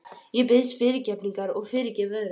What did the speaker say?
Ég biðst fyrirgefningar og fyrirgef öðrum.